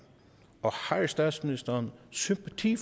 og har statsministeren sympati